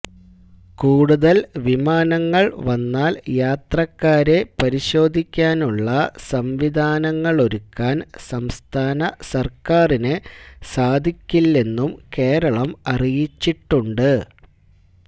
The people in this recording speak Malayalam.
കൂടുതല് വിമാനങ്ങള് വന്നാല് യാത്രക്കാരെ പരിശോധിക്കാനുള്ള സംവിധാനങ്ങളൊരുക്കാന് സംസ്ഥാന സര്ക്കാരിന് സാധിക്കില്ലെന്നും കേരളം അറിയിച്ചിട്ടുണ്ട്